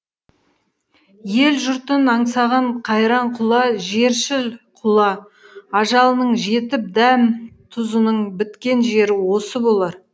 ел жұртын аңсаған қайран құла жершіл құла ажалының жетіп дәм тұзының біткен жері осы болар